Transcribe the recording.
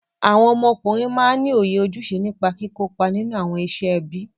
Awọn ọmọkùnrin máa ní òye ojúṣe nípa kìkópa nínú awọn iṣẹ ẹbí.